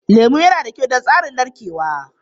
Lemu yana da kyau don tsarin narkewa.